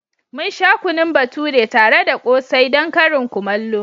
Mun sha kunun bature tare da ƙsai don karin kumallo.